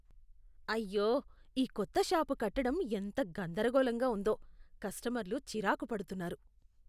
అయ్యో! ఈ కొత్త షాపు కట్టడం ఎంత గందరగోళంగా ఉందో, కస్టమర్లు చిరాకు పడుతున్నారు.